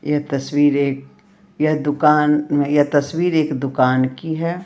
यह तस्वीर यह दुकान यह तस्वीर एक दुकान की है।